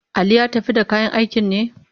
Ali ya tafi da kayan aikin ne?